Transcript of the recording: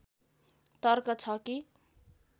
तर्क छ कि